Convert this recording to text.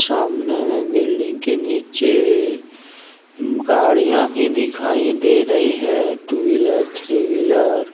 सामने में बिल्डिंग के नीचे गाड़ियां भी दिखाई दे रही है टू व्हीलर थ्री व्हीलर ।